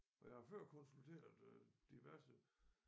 For jeg har før konsulteret øh diverse